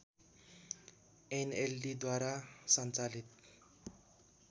एनएलडीद्वारा सञ्चालित